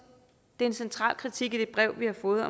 det er en central kritik i det brev vi har fået